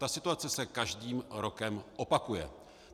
Ta situace se každým rokem opakuje.